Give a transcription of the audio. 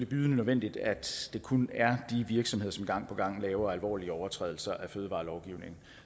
bydende nødvendigt at det kun er de virksomheder som gang på gang begår alvorlige overtrædelser af fødevarelovgivningen